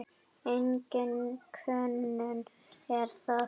Engin könnun er það.